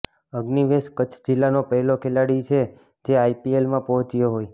અગ્નિવેશ કચ્છ જિલ્લાનો પહેલો ખેલાડી છે જે આઇપીએલમાં પહોંચ્યો હોય